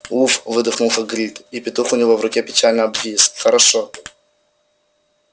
уф выдохнул хагрид и петух у него в руке печально обвис хорошо